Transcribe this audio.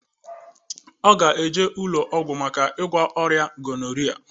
Ọ ga eje ụlọ ọgwụ maka ịgwọ ya oria gonoria